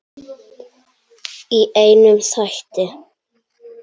Í einum þætti!